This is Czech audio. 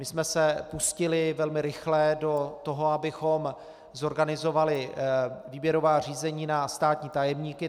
My jsme se pustili velmi rychle do toho, abychom zorganizovali výběrová řízení na státní tajemníky.